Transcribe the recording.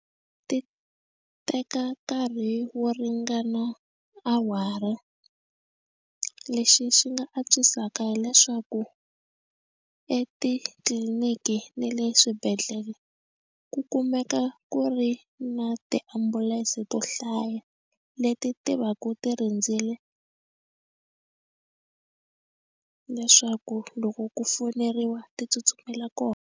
Ti teka nkarhi wo ringana awara lexi xi nga antswisaka hileswaku etitliniki ni le swibedhlele ku kumeka ku ri na tiambulense to hlaya leti ti va ku ti rindzile leswaku loko ku fowuneriwa ti tsutsumela kona.